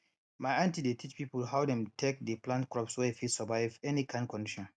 my aunty dey teach people how dem take dey plant crops wey fit survive any kind condition